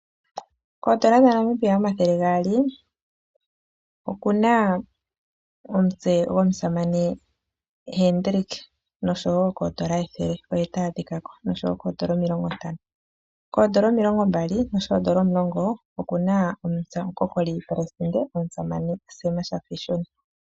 Koondola dha Namibia omathele gaali okuna omutse go musamane Hendrick , nosho wo koondola ethele oye ta adhikwako nosho wo koondola omilongo ntano. koondola omilongo mbali osho wo koondola omulongo okuna omutse gomukokoli omusamane Sam shafiishuna.